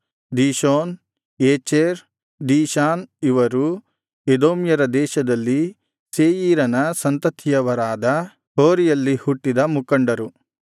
Dishon ಏಚೆರ್ ದೀಶಾನ್ ಇವರು ಎದೋಮ್ಯರ ದೇಶದಲ್ಲಿ ಸೇಯೀರನ ಸಂತತಿಯವರಾದ ಹೋರಿಯಲ್ಲಿ ಹುಟ್ಟಿದ ಮುಖಂಡರು